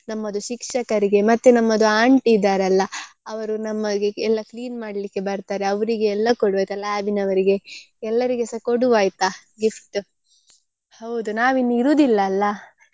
ನಮ್ಮದು ಶಿಕ್ಷಕರಿಗೆ ಮತ್ತೆ ನಮ್ಮದು aunty ಇದ್ದಾರಲ್ಲ ಅವರು ನಮಗೆ ಎಲ್ಲ clean ಮಾಡ್ಲಿಕ್ಕೆ ಬರ್ತಾರೆ ಅವ್ರಿಗೆ ಎಲ್ಲ ಕೊಡಬೇಕಲ್ಲ lab ನವರಿಗೆ ಎಲ್ಲರಿಗೆಸ ಕೊಡುವ ಆಯ್ತಾ gift ಹೌದು ನಾವಿನ್ನು ಇರುವುದಿಲ್ಲ ಅಲ್ಲ.